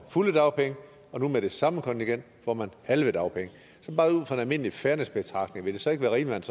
fulde dagpenge og nu med det samme kontingent får man halve dagpenge ud fra en almindelig fairnessbetragtning vil det så ikke være rimeligt